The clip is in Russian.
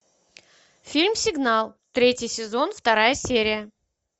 фильм сигнал третий сезон вторая серия